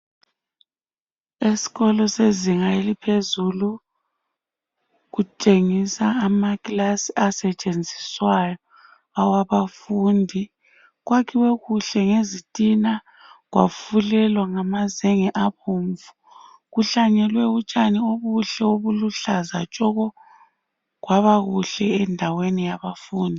Esikolo sezinga eliphezulu kutshengisa amakilasi asetshenziswayo awabafundi. Kwakhiwe kuhle ngezitina kwafulelwa ngamazenge abomvu. Kuhlanyelwe utshani obuhle obuluhlaza tshoko kwaba kuhle endaweni yabafundi.